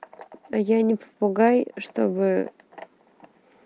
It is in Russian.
а я не попугай чтобы